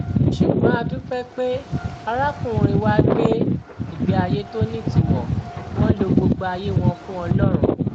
ṣùgbọn a dúpẹ pé arákùnrin wa gbé ìgbé ayé tó nítumọ wọn lọ gbogbo ayé wọn fún ọlọrun